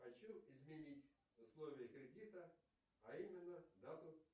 хочу изменить условия кредита а именно дату